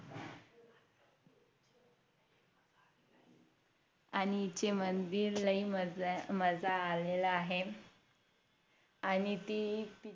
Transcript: आणि ह्याच्या मंदि लयी मजा मजा आलेला आहे आणि ती